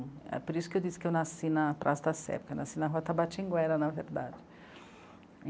É por isso que eu disse que eu nasci na Praça da Sé, porque eu nasci na Rota Batinguera, na verdade.